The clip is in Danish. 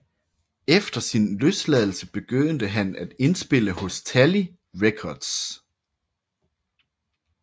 Efter sin løsladelse begyndte han at indspille hos Tally Records